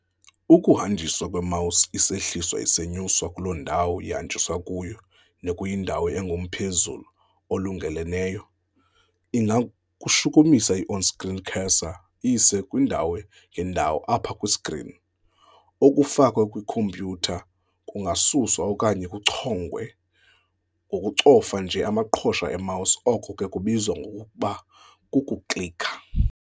Ukuhamnjiswa kwe-mouse isehliswa isenyuswa kuloo ndawo ihanjiswa kuyo nekuyindawo engumphezulu olungeleleneyo ingayishukumisa i-on-screen cursor iyise kwiindawo ngeendawo apha kwi-screen. Okufakwe kwi-khompyutha kungasuswa okanye kuchongwe ngokucofa nje amaqhosha e-mouse, oko ke kubizwa ngokuba kuku-klikha.